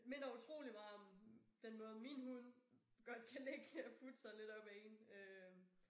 Minder utrolig meget om den måde min hund godt kan ligge og putte sig lidt op ad én øh